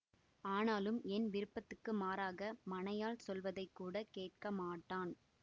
ஆனாலும் என் விருப்பத்துக்கு மாறாக மனையாள் சொல்வதை கூட கேட்க மாட்டான்